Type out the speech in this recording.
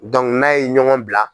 n'a ye ɲɔgɔn bila.